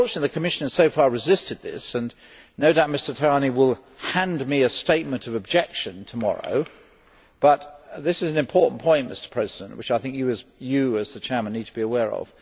Unfortunately the Commission has so far resisted this and no doubt Mr Tajani will hand me a statement of objection tomorrow but this is an important point, Mr President, which I think you, as the chairman, need to be aware of.